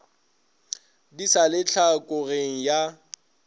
di sa le tlhokogeng ya